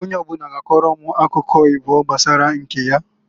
Onye ọbụna ga akọrọ m akụkọ ịbụọ gbasara nke ya.